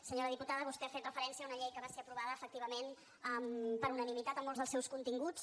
senyora diputada vostè ha fet referència a una llei que va ser aprovada efectivament per unanimitat en molts dels seus continguts